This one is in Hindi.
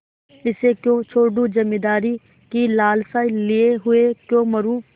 इसे क्यों छोडूँ जमींदारी की लालसा लिये हुए क्यों मरुँ